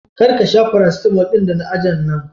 Kar ka sha farasitalmo ɗin da na aje a nan.